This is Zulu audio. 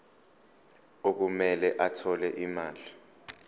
okumele athole imali